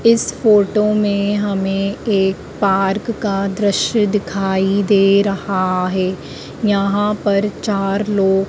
इस फोटो में हमें एक पार्क का दृश्य दिखाई दे रहा है यहां पर चार लोग--